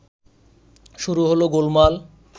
শুরু হলো গোলমাল